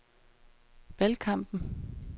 valgkampen